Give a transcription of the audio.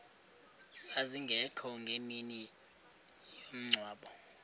zazingekho ngemini yomngcwabo